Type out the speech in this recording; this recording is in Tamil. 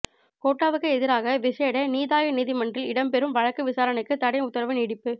கோட்டாவுக்கு எதிராக விசேட நீதாய நீதிமன்றில் இடம்பெறும் வழக்கு விசாரணைக்கு தடை உத்தரவு நீடிப்பு